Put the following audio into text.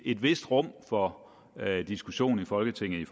et vist rum for diskussion i folketinget i